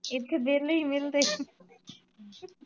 ਇੱਥੇ ਵੇਹਲੇ ਈ ਮਿਲਦੇਆ।